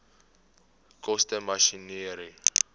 koste masjinerie